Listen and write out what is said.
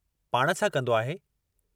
पाण छा कंदो आहे?